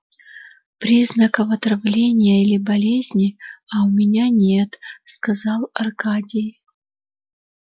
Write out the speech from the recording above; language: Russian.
признаков отравления или болезни а у меня нет сказал аркадий